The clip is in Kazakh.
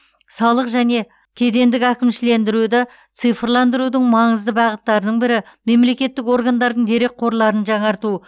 салық және кедендік әкімшілендіруді цифрландырудың маңызды бағыттарының бірі мемлекеттік органдардың дерекқорларын жаңарту